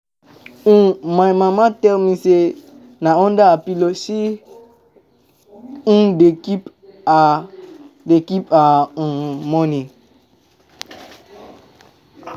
um My mama tell me say na under her pillow she um bin dey keep her dey keep her um money.